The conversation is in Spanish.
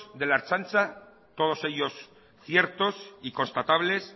de la ertzaintza todos ellos ciertos y constatables